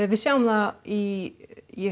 við sjáum það í